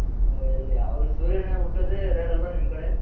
ಹೌದು ಅಲ್ ಯಾವಾಗಲು ಸೂರ್ಯನೆ ಹುಟ್ತೋದೆ rare ಅಲ್ವ ನಿಮ್ ಕಡೆ?